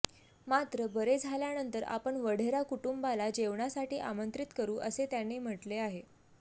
मात्र बरे झाल्यानंतर आपण वढेरा कुटुंबाला जेवणासाठी आमंत्रित करू असे त्यांनी म्हटले आहे